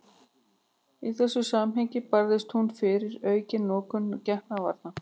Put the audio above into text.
Í þessu samhengi barðist hún fyrir aukinni notkun getnaðarvarna.